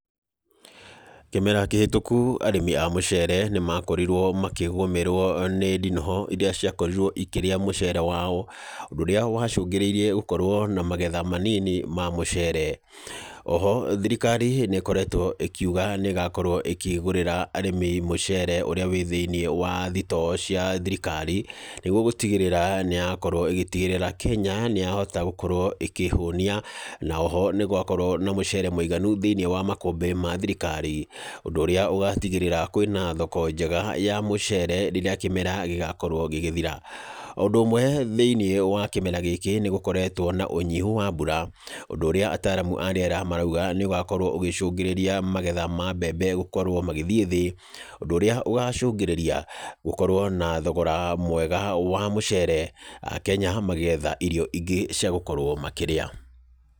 Kĩmera kĩhĩtũku arĩmi a mũcere nĩ makorirwo makĩgũmĩrwo nĩ ndinoho irĩa ciakorirwo ikĩrĩa mũcere wao. Ũndũ ũrĩa wacũngĩrĩirie gũkorwo na magetha manini ma mũcere. Oho, thirikari nĩ ĩkoretwo ĩkiuga nĩ ĩgakorwo ĩkĩgũrĩra arĩmi mũcere ũrĩa wĩ thĩiniĩ wa thitoo cia thirikari, nĩguo gũtigĩrĩra nĩ yakorwo ĩgĩtigĩrĩra Kenya, nĩ yahota gũkorwo ĩkĩĩhũnia, na oho nĩ gwakorwo na mũcere mũiganu thĩiniĩ wa makũmbĩ ma thirikari, ũndũ ũrĩa ũgatigĩrĩra kwĩna thoko njega ya mũcere rĩrĩa kĩmera gĩgakorwo gĩgĩthira. O ũndũ ũmwe thĩiniĩ wa kĩmera gĩkĩ, nĩ gũkoretwo na ũnyihu wa mbura, ũndũ ũrĩa ataaramu a rĩera marauga, nĩ ũgakorwo ũgĩcũngĩrĩra magetha ma mbembe gũkorwo magĩthiĩ thĩ, ũndũ ũrĩa ũgacũngĩrĩria gũkorwo na thogora mwega wa mũcere akenya magĩetha irio ingĩ cia gũkorwo makĩrĩa.